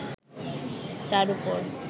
তার ওপর